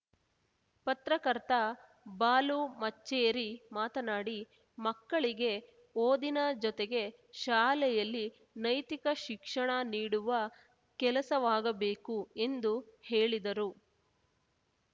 ಪತ್ರಕರ್ತ ಬಾಲು ಮಚ್ಚೇರಿ ಮಾತನಾಡಿ ಮಕ್ಕಳಿಗೆ ಓದಿನ ಜೊತೆಗೆ ಶಾಲೆಯಲ್ಲಿ ನೈತಿಕ ಶಿಕ್ಷಣ ನೀಡುವ ಕೆಲಸವಾಗಬೇಕು ಎಂದು ಹೇಳಿದರು